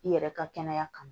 I yɛrɛ ka kɛnɛya kama